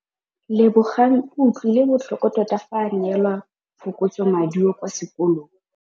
Lebogang o utlwile botlhoko tota fa a neelwa phokotsômaduô kwa sekolong.